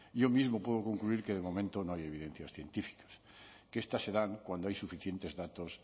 yo mismo puedo concluir que de momento no hay evidencias científicas que estas se dan cuando hay suficientes datos